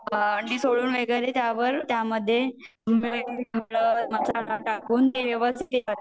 अंडी सोलून वगैरे त्या मध्ये